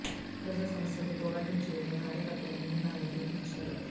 ప్రజా సమస్యలపై పోరాటం చేయడంలో కార్యకర్తలు ముందుండాలని పిలుపు నిచ్చారు